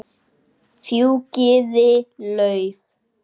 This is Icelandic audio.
Fjúkiði lauf.